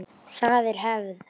Það er hefð!